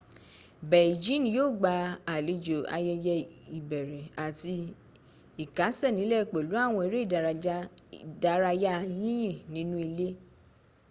beijing yíò gbà àlejò ayẹyẹ ìbẹ̀rẹ àti ìkásẹ̀nílẹ̀ pẹ̀lú àwọn eré ìdárayá yìnyín nínú ilé